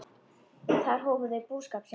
Þar hófu þau búskap sinn.